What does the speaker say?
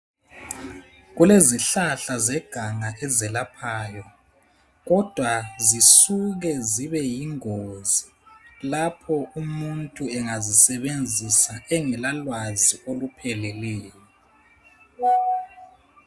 Kulezihlahla zeganga ezelaphayo kodwa zisuka zibe yingozi lapho umuntu engazisebenzisa engela lwazi olupheleleyo